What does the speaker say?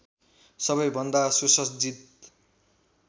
सबै भन्दा सुसज्जित